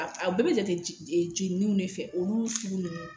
A a bɛɛ bɛ jate jɛ jɛnninw de fɛ olu sugu ninnu